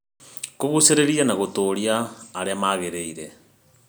Kũgucĩrĩria na Gũtũũria Arĩa Magĩrĩire